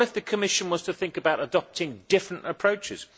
What if the Commission was to think about adopting different approaches?